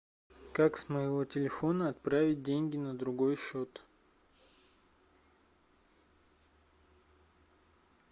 как с моего телефона отправить деньги на другой счет